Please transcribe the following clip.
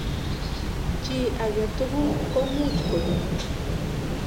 Chi ake tukul komuch konyo.